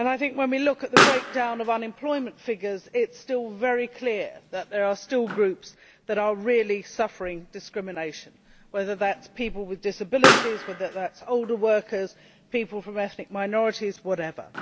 When we look at the breakdown of unemployment figures, it is still very clear that there are still groups that are really suffering discrimination, whether they are people with disabilities, older workers, people from ethnic minorities, or whatever.